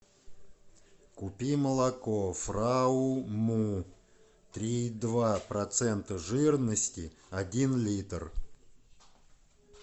купи молоко фрау му три и два процента жирности один литр